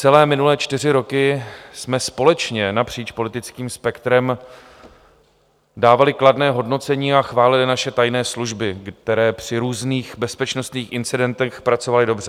Celé minulé čtyři roky jsme společně napříč politickým spektrem dávali kladné hodnocení a chválili naše tajné služby, které při různých bezpečnostních incidentech pracovaly dobře.